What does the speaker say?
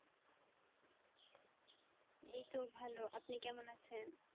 এই তো ভালো আপনি কেমন আছেন?